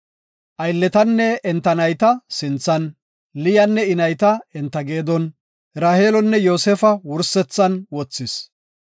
Aylletanne enta nayta sinthan, Liyanne I nayta enta geedon, Raheelonne Yoosefa wursethan wothis.